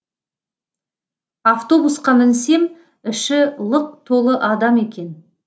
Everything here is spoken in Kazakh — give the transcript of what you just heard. автобусқа мінсем іші лық толы адам екен